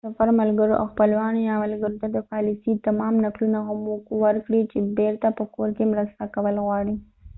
د سفر ملګرو او خپلوانو یا ملګرو ته د پالیسۍ / تماس نقلونه هم ورکړئ چې بيرته په کور کې مرسته کول غواړي